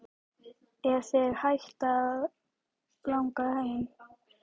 Er þig hætt að langa heim?